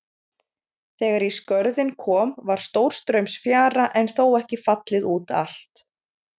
Þegar í Skörðin kom var stórstraumsfjara en þó ekki fallið út allt.